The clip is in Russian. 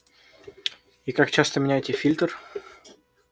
и как часто меняете фильтр